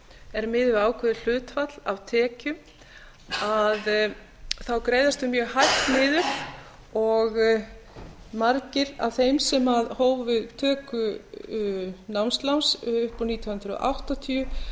er miðuð við ákveðið hlutfall af tekjum þá greiðast þau mjög hægt niður og margir af þeim sem hófu töku námsláns upp úr nítján hundruð áttatíu